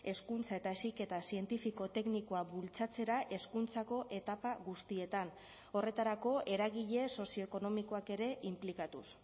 hezkuntza eta heziketa zientifiko teknikoa bultzatzera hezkuntzako etapa guztietan horretarako eragile sozioekonomikoak ere inplikatuz